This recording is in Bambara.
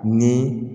Ni